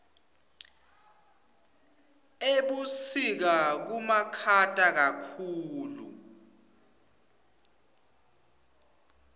ebusika kubamakhata kakhulu